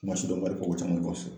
kuma sidɔnbalifɔ